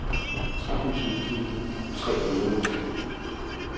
tretten tusind tre hundrede og fjorten